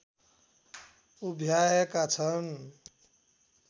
उभ्याएका छन्